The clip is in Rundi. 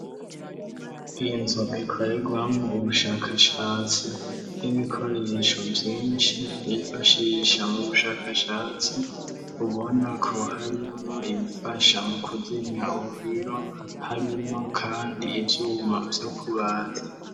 inzu ikoregwamo ubushakashatsi n'ibikoresho vyinshi bifashisha mu bushakashatsi ubona ko harimwo ibifasha mu kuzimya umuriro harimwo kandi ivyuma vyo kubaza